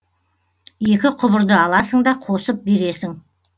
екі құбырды аласың да қосып бересің